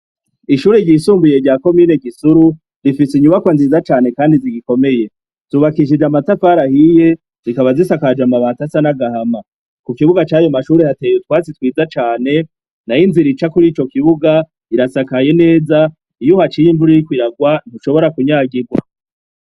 Ishure ry'isumbuye rya komine Gisuru rifise inyubakwa nziza cane kandi zigikomeye, zubakishije amatafari ahiye, zikaba zisakaje amabati asa n'agahama. Ku kibuga c'ayo mashure hateye utwatsi twiza cane nayo inzira ica kuri ico kibuga irasakaye neza, iyo uhaciye imvura iriko irarwa ntushobora kunyagirwa.